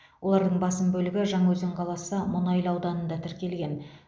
олардың басым бөлігі жаңаөзен қаласы мұнайлы ауданында тіркелген